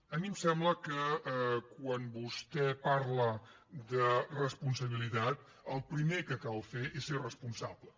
a mi em sembla que quan vostè parla de responsabilitat el primer que cal fer és ser responsable